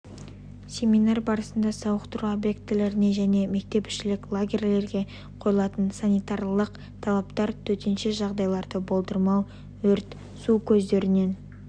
семинар барысында сауықтыру объектілеріне және мектепішілік лагерлерге қойылатын санитарлық-эпидемиологиялық талаптар төтенше жағдайларды болдырмау өрт су көздерінен